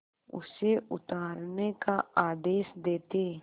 उसे उतारने का आदेश देते